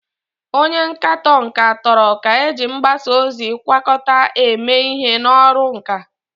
Onye nkatọ nka toro ka eji mgbasa ozi agwakọta eme ihe n'ọrụ nka.